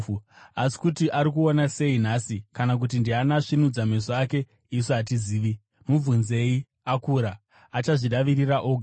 Asi kuti ari kuona sei nhasi kana kuti ndiani asvinudza meso ake, isu hatizivi. Mubvunzei. Akura; achazvidavirira oga.”